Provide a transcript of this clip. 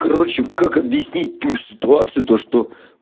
короче как объяснить ту ситуацию то что